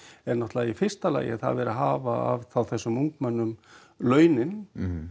er náttúrulega í fyrsta lagi að það er verið að hafa af þessum ungmennum launin